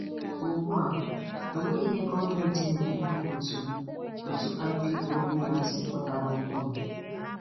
Ugbua, o nweghị ihe gọọmentị na-ekwu maka otu otu IPOB a asi pụtara ọhụrụ.